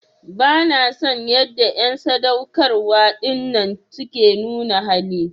Bana son yanda en sadaukarwa dinnan suke nuna hali.